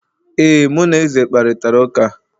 ee, mụ na eze kparịtara ụka